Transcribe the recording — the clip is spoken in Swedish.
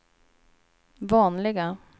vanliga